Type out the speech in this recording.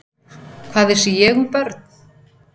Hvað vissi ég um börn?